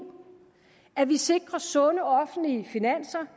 at vi sikrer sunde offentlige finanser